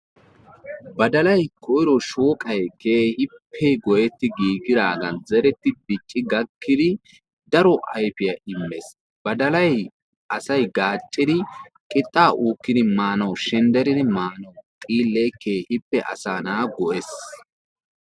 Badalayi koyiro shooqayi keehippe goyetti giigidaagan zeretti dicci gakkidi daro ayfiya immes. Badalayi asayi gaaccidi qixxaa uukkidi maanawu shendderidi maanawu xiillee keehippe asaa na'aa go'ees.